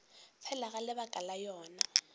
fela ga lebaka la yona